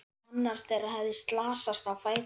Annar þeirra hafði slasast á fæti.